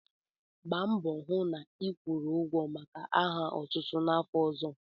Gba mbọ hụ na ịkwụrụ ụgwọ maka aha otutu n'afọ ọzọ!